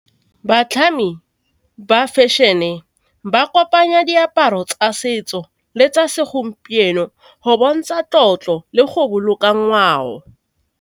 Batlhami ba fashion-e ba kopanya diaparo tsa setso le tsa segompieno go bontsha tlotlo le go boloka ngwao.